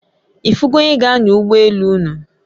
Ifu go onye g'anya ugbo elu unu?